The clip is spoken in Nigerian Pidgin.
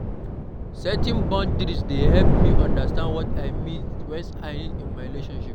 Setting boundaries dey help me understand what I need in my relationships.